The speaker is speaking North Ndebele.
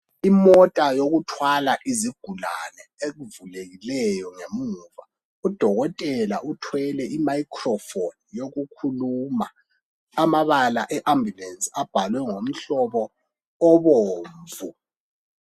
Imota yokuthwala izigulane evulekileyo ngemuva. Udokotela uthwele I ' microphone ' yokukhuluma. Amabala e abhulenzi abhalwe ngomuhlobo obomvu.